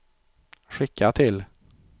skicka till